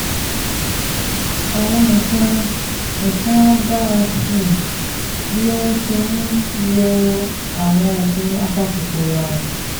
Àwọn nǹkan nǹkan á dára sí i bí o um ṣe um ń lo àwọn oògùn apakòkòrò ààrùn